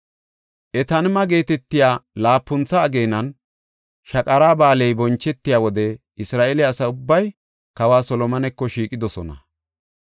Etaanima geetetiya laapuntha ageenan, Shaqara Ba7aaley bonchetiya wode Isra7eele asa ubbay kawa Solomoneko shiiqidosona.